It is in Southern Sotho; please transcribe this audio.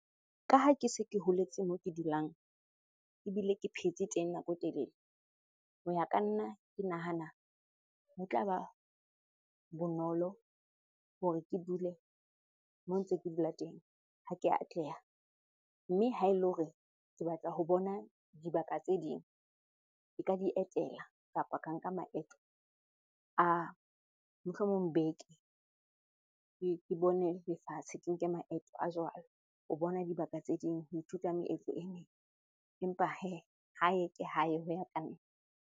Ka ha ke se ke holetse moo ke dulang ebile ke phetse teng nako e telele. Ho ya ka nna ke nahana ho tla ba bonolo hore ke dule moo ntse ke dula teng ha ke atleha. Mme ha e le hore ke batla ho bona dibaka tse ding, nka di etela kapa ka nka maeto a, mohlomong beke. Ke bone lefatshe, ke nke maeto a jwalo ho bona dibaka tse ding, ho ithuta meetlo e meng. Empa hee, hae ke hae ho ya ka nna.